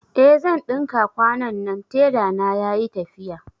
Eh zan ɗinka kwanannan, tela na yayi tafiya